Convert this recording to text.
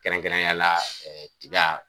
Kɛrɛnkɛrɛnyala ɛɛ tika.